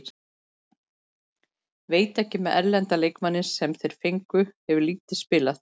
Veit ekki með erlenda leikmanninn sem þeir fengu, hefur lítið spilað.